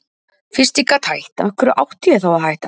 Fyrst ég gat hætt, af hverju átti ég þá að hætta?